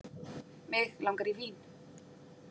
Mig langar í vín.